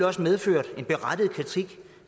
også medført en berettiget kritik